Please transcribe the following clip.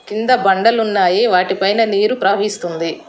కింద బండలున్నాయి వాటిపైన నీరు ప్రవహిస్తుంది.